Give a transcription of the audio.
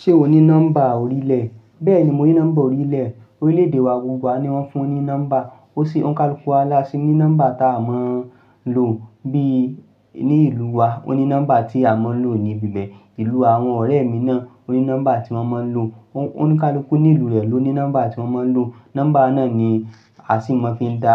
Ṣé o ní nọ́mbà orílẹ̀? Bẹ́ẹ̀ni mo ní nọ́mbà orílẹ̀. Orílẹ̀ èdè wa gbogbo wa ni wọ́n fún ní nọ́mbà. Ó sì ó ń kalukú wá lásì ní nọ́mbà ta a mọ̀ lo bí i ní ìlú wa. O ní nọ́mbà tí a mọ̀ lo ní ibi bẹ́ẹ̀. Ìlú àwọn ọ̀rẹ́ mi náà o ní nọ́mbà tí wọ́n mọ̀ lò. Oní kalukú ní ìlú rẹ̀ ló ní nọ́mbà tí wọ́n mọ̀ lò. Nọ́mbà náà ni a sì mọ̀ fi dá,